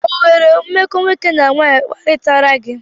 O nwere mmekọ nwoke na nwanyị kparịtara gị?